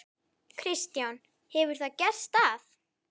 Kristján: Hefur það gerst að?